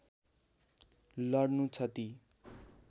लड्नु छ ती